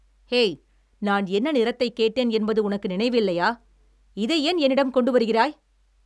High, நான் என்ன நிறத்தைக் கேட்டேன் என்பது உனக்கு நினைவில்லையா? இதை ஏன் என்னிடம் கொண்டு வருகிறாய்?